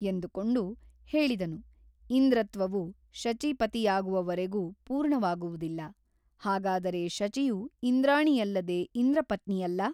ಎಂದುಕೊಂಡು ಹೇಳಿದನು ಇಂದ್ರತ್ವವು ಶಚೀಪತಿಯಾಗುವವರೆಗೂ ಪೂರ್ಣವಾಗುವುದಿಲ್ಲ ಹಾಗದರೆ ಶಚಿಯು ಇಂದ್ರಾಣಿಯಲ್ಲದೆ ಇಂದ್ರಪತ್ನಿಯಲ್ಲ ?